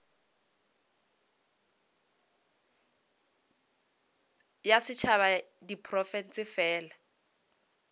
ya setšhaba ya diprofense fela